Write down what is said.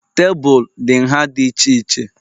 Tebụl dị nha dị iche iche